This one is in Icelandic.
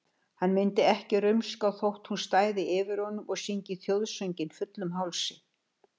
Hann myndi ekki rumska þótt hún stæði yfir honum og syngi þjóðsönginn fullum hálsi.